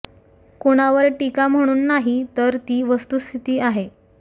कुणावर टीका म्हणून नाही तर ती वस्तुस्थिती आहे